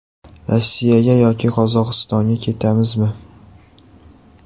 Rossiyaga yoki Qozog‘istonga ketamizmi?